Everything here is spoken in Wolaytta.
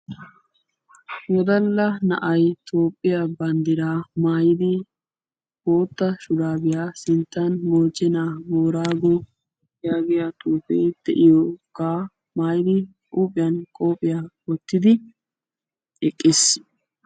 Wodalla na"ay Toophphiyaa banddiraa maayidi bootta shuraabiya sinttan "mochena booraago "yaagiyaa xuufee de"iyoogaa maayidi huuphiyan qophiya wottidi eqqis.